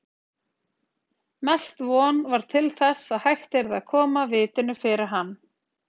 Mest von var til þess að hægt yrði að koma vitinu fyrir hann.